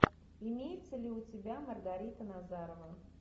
имеется ли у тебя маргарита назарова